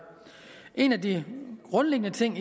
en af de grundlæggende ting